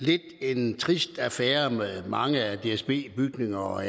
lidt er en trist affære med mange af dsbs bygninger og